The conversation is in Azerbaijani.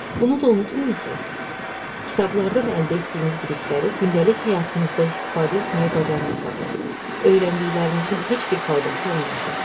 Bunu da unutmayın ki, kitablardan əldə etdiyiniz bilikləri gündəlik həyatınızda istifadə etməyi bacarmasanız, öyrəndiklərinizin heç bir faydası olmayacaq.